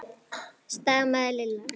stamaði Lilla.